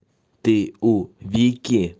ты у вики